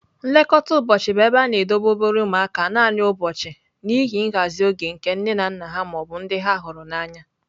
Nlekọta ụbọchị bụ ebe a na-edobe obere ụmụaka naanị ụbọchị n'ihi nhazi oge nke nne na nna ha ma ọ bụ ndị ha hụrụ n'anya.